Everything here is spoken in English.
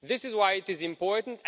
This is why it is important.